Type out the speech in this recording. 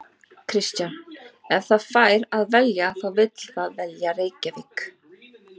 Kristján: Ef það fær að velja þá vill það velja Reykjavík?